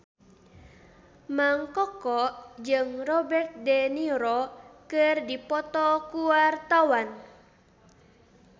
Mang Koko jeung Robert de Niro keur dipoto ku wartawan